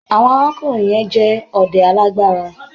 Àwọn arákùnrin yẹn jẹ́ ọdẹ alágbára.